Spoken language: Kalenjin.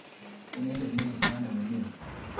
Inendet ne esioi lewenengung